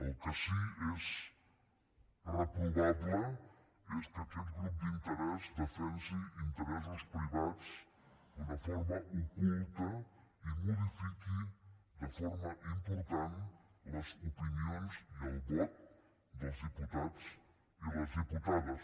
el que sí que és reprovable és que aquest grup d’interès defensi interessos privats d’una forma oculta i modifiqui de forma important les opinions i el vot dels diputats i les diputades